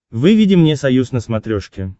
выведи мне союз на смотрешке